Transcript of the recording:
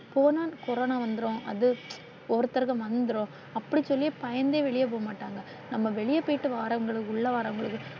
போனா கொரோனா வந்துரும். அது ஒருத்தருக்கும் வந்துரும் அப்படியே சொல்லியே பயந்தே வெளிய போக மாட்டாங்க. நாம வெளிய போயிட்டு வாரவங்களுக்கு உள்ள வாரவங்களுக்கு.